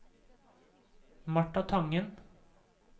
Martha Tangen